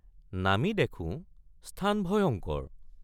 নামি দেখোঁ স্থান ভয়ংকৰ।